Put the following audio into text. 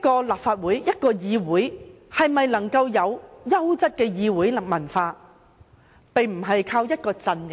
立法會或一個議會要有優質的議會文化，並不能單靠一個陣營。